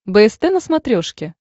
бст на смотрешке